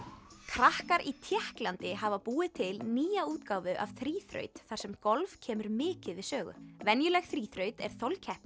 krakkar í Tékklandi hafa búið til nýja útgáfu af þríþraut þar sem golf kemur mikið við sögu venjuleg þríþraut er